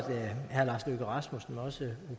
herre lars løkke rasmussen og også